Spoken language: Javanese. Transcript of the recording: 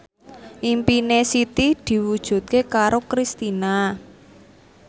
impine Siti diwujudke karo Kristina